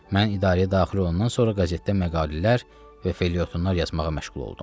Mən idarəyə daxil olandan sonra qəzetdə məqalələr və felyetonlar yazmağa məşğul oldum.